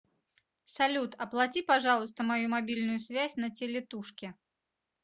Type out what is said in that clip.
салют оплати пожалуйста мою мобильную связь на телетушке